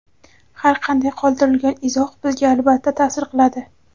Har qanday qoldirilgan izoh bizga albatta ta’sir qiladi.